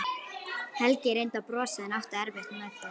Helgi reyndi að brosa en átti erfitt með það.